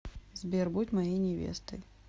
сбер будь моей невестой